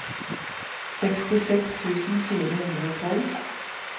sekstiseks tusen fire hundre og tolv